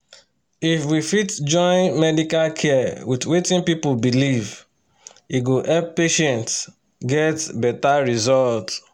if we fit join medical care with wetin people believe e go help patients get better result.